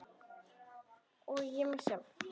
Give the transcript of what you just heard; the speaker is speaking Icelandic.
Og ég á mig sjálf!